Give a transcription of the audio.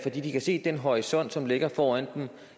de kan se at den horisont som ligger foran dem